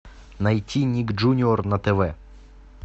найти ник джуниор на тв